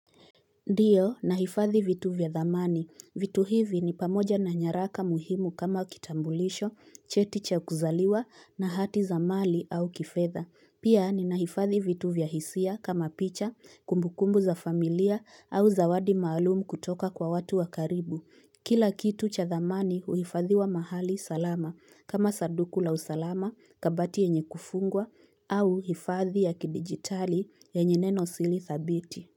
Ndiyo nahifadhi vitu vya dhamani. Vitu hivi ni pamoja na nyaraka muhimu kama kitambulisho, cheti cha kuzaliwa na hati za mali au kifedha. Pia ninahifadhi vitu vya hisia kama picha, kumbukumbu za familia au zawadi maalumu kutoka kwa watu wa karibu. Kila kitu cha zamani huhifadhiwa mahali salama kama sanduku la usalama kabati yenye kufungwa au hifadhi ya kidigitali yenye nenosiri thabiti.